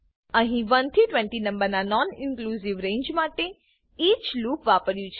અહી 1 થી 20 નંબરના નોનઇનક્લુંજીવ રેંજ માટે ઇચ લૂપ વાપર્યું છે